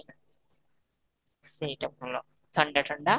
ସେଇଟା ଭଲ, ଥଣ୍ଡା ଥଣ୍ଡା